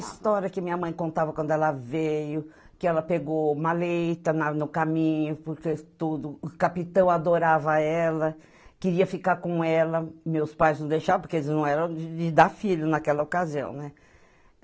A história que minha mãe contava quando ela veio, que ela pegou uma leita na no caminho, porque tudo, o capitão adorava ela, queria ficar com ela, meus pais não deixavam, porque eles não eram de dar filho naquela ocasião, né?